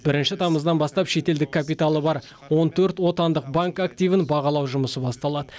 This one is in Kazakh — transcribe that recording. бірінші тамыздан бастап шетелдік капиталы бар он төрт отандық банк активін бағалау жұмысы басталады